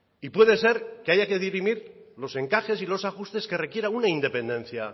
y puede ser que haya que dirimir los encajes y los ajustes que requieran una independencia